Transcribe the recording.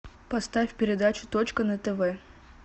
поставь передачу точка на тв